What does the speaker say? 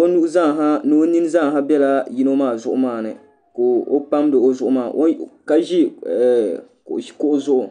o nuhi zaaha ni o nini zaaha biɛla yino maa zuɣu maa ni ka o pamdi o zuɣu maa ka ʒi kuɣu zuɣu